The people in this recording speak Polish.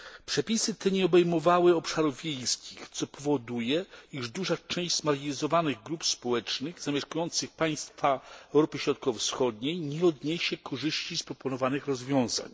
Przepisy te nie obejmowały obszarów wiejskich, co powoduje, iż duża część zmarginalizowanych grup społecznych zamieszkujących państwa Europy Środkowo Wschodniej nie odniesie korzyści z proponowanych rozwiązań.